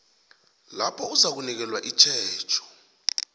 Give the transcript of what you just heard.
lapho uzakunikelwa itjhejo